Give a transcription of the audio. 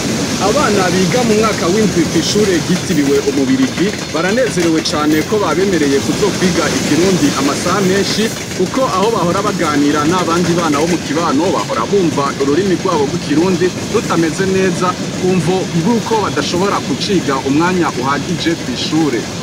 Abana biga mu mwaka w'indwi kw'ishure ritiriwe umubirigi baranezerewe cane ko babemereye kuzokwiga ikirundi amasaha menshi, kuko aho bahora baganira n'abandi bana bo mu kibano bahora bumva ururimi rwabo rw'ikirundi rutameze neza ku mvo ibo uko badashobora kuciga umwanya uhagije kw'ishure.